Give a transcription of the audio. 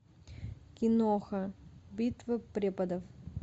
киноха битва преподов